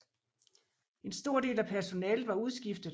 En stor del af personalet var udskiftet